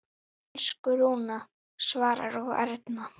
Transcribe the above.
Elsku Rúna, Svavar og Erna.